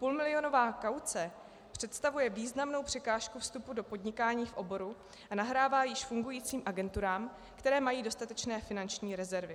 Půlmilionová kauce představuje významnou překážku vstupu do podnikání v oboru a nahrává již fungujícím agenturám, které mají dostatečné finanční rezervy.